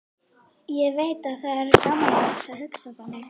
Ég veit að það er gamaldags að hugsa þannig.